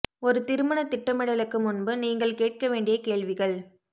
ஒரு திருமண திட்டமிடலுக்கு முன்பு நீங்கள் கேட்க வேண்டிய கேள்விகள்